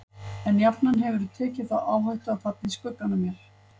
En jafnan hefðirðu tekið þá áhættu að falla í skuggann af mér.